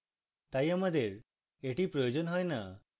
তাই আমাদের এটি প্রয়োজন হয় না